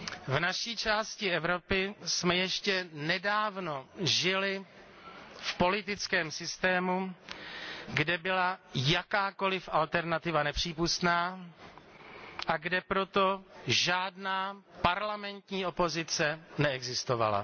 V naší části Evropy jsme ještě nedávno žili v politickém systému, kde byla jakákoli alternativa nepřípustná a kde proto žádná parlamentní opozice neexistovala.